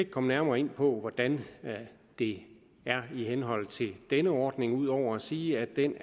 komme nærmere ind på hvordan det er i henhold til denne ordning ud over at sige at den